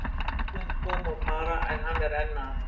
Vængmenn koma og fara en hann er enn að.